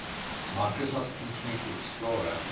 microsoft internet explorer